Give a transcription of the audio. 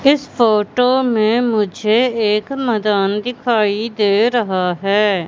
इस फोटो में मुझे एक मदान दिखाई दे रहा है।